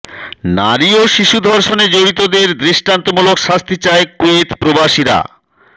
নারী ও শিশু ধর্ষণে জড়িতদের দৃষ্টান্তমূলক শাস্তি চায় কুয়েত প্রবাসীরা